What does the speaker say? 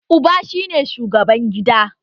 Uba shi ne shugaban gida